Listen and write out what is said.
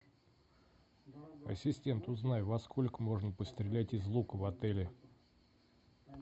ассистент узнай во сколько можно пострелять из лука в отеле